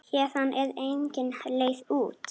Héðan var engin leið út.